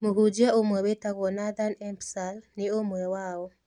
Mũhunjia ũmwe wĩtagwo Nathan Empsall nĩ ũmwe wao.